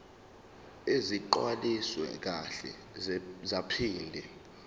ezigcwaliswe kahle zaphinde